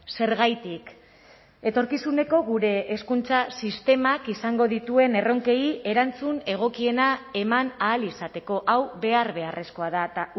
zergatik etorkizuneko gure hezkuntza sistemak izango dituen erronkei erantzun egokiena eman ahal izateko hau behar beharrezkoa da eta